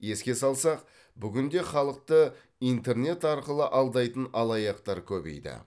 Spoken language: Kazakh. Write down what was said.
еске салсақ бүгінде халықты интернет арқылы алдайтын алаяқтар көбейді